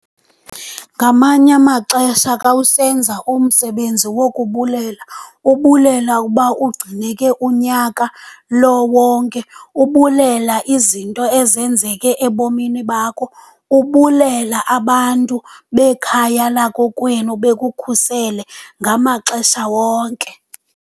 Ngamanye amaxesha xa usenza umsebenzi wokubulela, ubulela uba ugcineke unyaka lo wonke. Ubulela izinto ezenzeke ebomini bakho, ubulela abantu bekhaya lakokwenu bekukhusele ngamaxesha wonke.